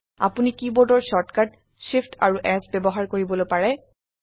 আপোনি কীবোৰ্ডৰ shortcut Shift amp S ব্যবহাৰ কৰিবলৈ পাৰে